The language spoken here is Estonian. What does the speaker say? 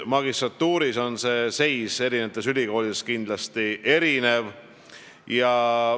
Magistrantuuris on see seis eri ülikoolides kindlasti erinev.